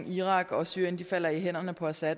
irak og syrien falder i hænderne på assad